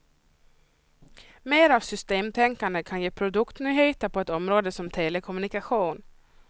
Mer av systemtänkande kan ge produktnyheter på ett område som telekommunikation.